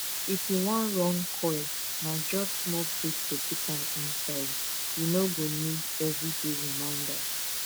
if u wan run coil na just small prick to put am inside u no go need everyday reminder